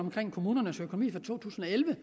om kommunernes økonomi for to tusind og elleve